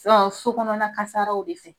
so kɔnɔna kasaraw de fɛ,